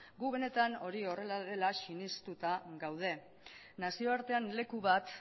gu benetan hori horrela dela sinestuta gaude nazioartean leku bat